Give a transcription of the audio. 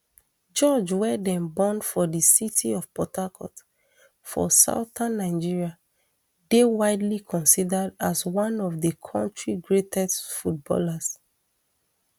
george wey dem born for di city of port harcourt for southern nigeria dey widely considered as one of di kontri greatest footballers